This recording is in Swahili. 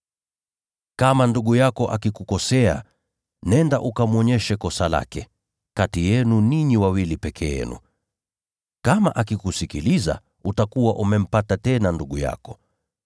“Kama ndugu yako akikukosea, nenda ukamwonyeshe kosa lake, kati yenu ninyi wawili peke yenu. Kama akikusikiliza, utakuwa umempata tena ndugu yako.